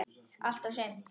Allt og sumt.